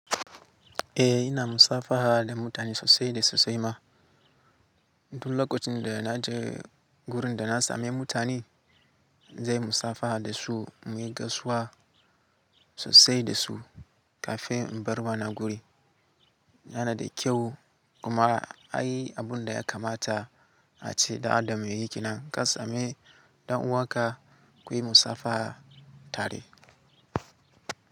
Eh ina musafaha da mutane sosai da sosai ma. Duk lokacin da na je wurin da na sami mutane, zai musabaha da su, muyi gaisuwa sosai da su kafin in bar wannan guri. Yana da kyau kuma ai abun da ya kamata a ce dan Adam ya yi ke nan ka sami ɗan uwanka kuyi musafaha tare.